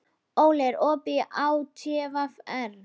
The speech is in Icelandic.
Óli, er opið í ÁTVR?